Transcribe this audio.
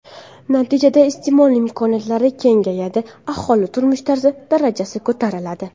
Natijada iste’mol imkoniyatlari kengayadi, aholi turmush tarzi darajasi ko‘tariladi.